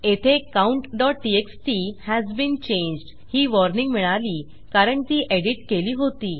येथे countटीएक्सटी has been changed ही वॉर्निंग मिळाली कारण ती एडिट केली होती